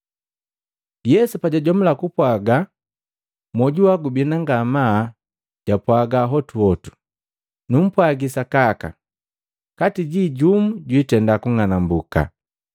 Yesu pajwajomula kupwaga hela, mwoju wa gubina ngamaa, jwapwaga hotuhotu, “Numpwagi sakaka, kati jii jumu jwitenda kung'anambuka!”